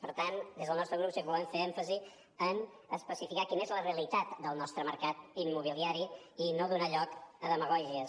per tant des del nostre grup sí que volem fer èmfasi en especificar quina és la realitat del nostre mercat immobiliari i no donar lloc a demagògies